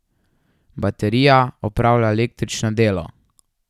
Baterija opravlja električno delo.